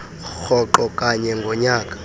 rhoqo kanye ngonyaka